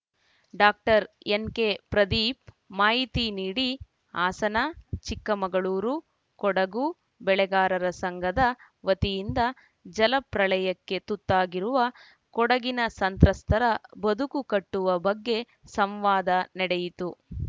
doctor NK Pradeep ಮಾಹಿತಿ ನೀಡಿ ಹಾಸನ ಚಿಕ್ಕಮಗಳೂರು ಕೊಡಗು ಬೆಳೆಗಾರರ ಸಂಘದ ವತಿಯಿಂದ ಜಲಪ್ರಳಯಕ್ಕೆ ತುತ್ತಾಗಿರುವ ಕೊಡಗಿನ ಸಂತ್ರಸ್ಥರ ಬದುಕು ಕಟ್ಟುವ ಬಗ್ಗೆ ಸಂವಾದ ನಡೆಯಿತು